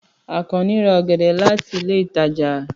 Àkànnì ra ọ̀gẹ̀dẹ̀ láti ilé ìtajà.